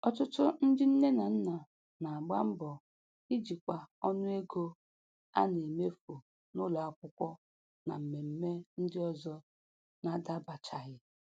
Ọtụtụ ndị nne na nna na-agba mbọ ijikwa ọnụego a na-emefu n'ụlọ akwụkwọ na mmemme ndị ọzọ na-adabachaghị